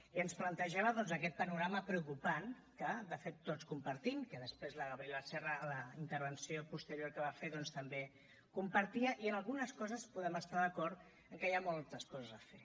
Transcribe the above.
i ens plantejava doncs aquest panorama preocupant que de fet tots compartim que després la gabriela serra en la intervenció posterior que va fer doncs també compartia i en algunes coses podem estar d’acord en què hi ha moltes coses a fer